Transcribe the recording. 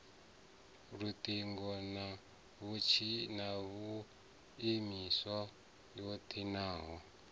luṱingo na tshumiso ya ṱhingo